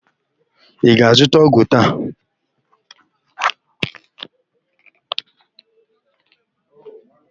Ị ga-azụta ọgwụ taa?